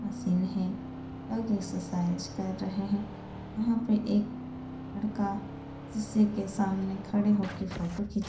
Machine हैं। लोग exercise कर रहे हैं। वहां पे एक लड़का शीशे के सामने खड़े होके फोटो खीच्वा --